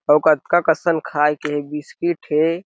अउ कतका कसन खाये के हे बिस्कुट हे।